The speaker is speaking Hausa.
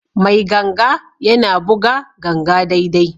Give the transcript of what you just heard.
Mai ganga yana buga ganga daidai.